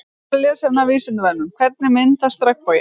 Frekara lesefni af Vísindavefnum Hvernig myndast regnboginn?